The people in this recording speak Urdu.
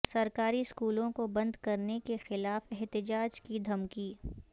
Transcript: سرکاری اسکولوں کو بند کرنے کیخلاف احتجاج کی دھمکی